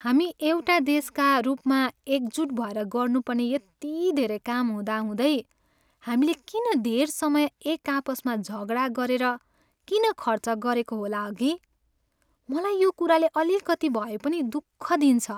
हामी एउटा देशका रूपमा एकजुट भएर गर्नुपर्ने यति धेरै काम हुँदाहुँदै, हामीले किन धेर समय एकआपससँग झगडा गरेर किन खर्च गरेको होला हगि? मलाई यो कुराले अलिकति भएपनि दुःख दिन्छ।